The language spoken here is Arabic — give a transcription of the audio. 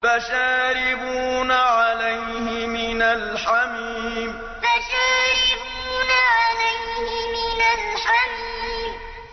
فَشَارِبُونَ عَلَيْهِ مِنَ الْحَمِيمِ فَشَارِبُونَ عَلَيْهِ مِنَ الْحَمِيمِ